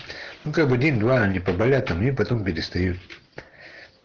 ну как бы день два они поболят там и потом перестают